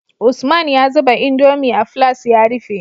Usman ya zuba indomie a filas ya rufe